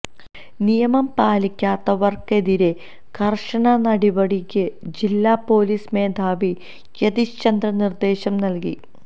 നിയമം പാലിക്കാത്തവര്ക്കെതിരേ കര്ശന നടപടിക്ക് ജില്ലാ പോലിസ് മേധാവി യതീഷ് ചന്ദ്ര നിര്ദേശം നല്കി